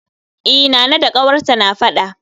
E, Nana da ƙawarta na faɗa